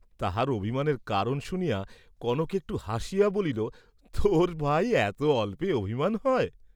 তাহার অভিমানের কারণ শুনিয়া কনক একটু হাসিয়া বলিল তোর, ভাই এত অল্পে অভিমান হয়?